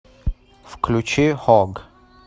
включи хог